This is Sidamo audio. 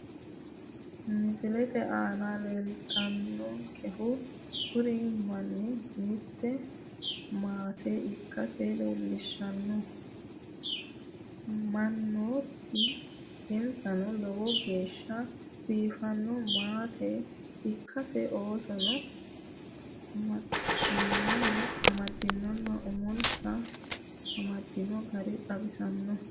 Misilete aana leellannonkehu kuri mannu mitte maate ikkansa leellishshanno mannaati insanno lowo geeshsha biiffanno maate ikkansa oosonsa amaddinonna umonsa amadino gari xawissanno.